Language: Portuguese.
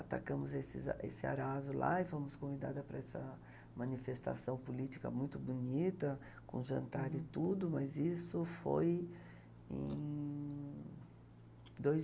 Atacamos esses esse arazo lá e fomos convidada para essa manifestação política muito bonita, com jantar e tudo, mas isso foi em... dois